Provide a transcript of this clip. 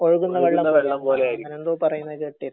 ഒഴുകുന്ന വെള്ളം പോലെ എങ്ങിനെ എന്തോ പറയുന്നത് കേട്ടിരുന്നു